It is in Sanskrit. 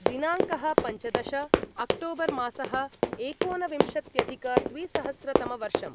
दिनाङ्कः पञ्चदश अक्टोबर्मासः एकोनविंशत्यधिकद्विसहस्रतमवर्षम्